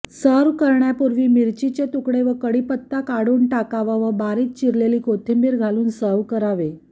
serve करण्यापूर्वी मिरचीचे तुकडे व कढीपत्ता काढून टाकावा व बारीक चिरलेली कोथिंबीर घालून सर्व्ह करावे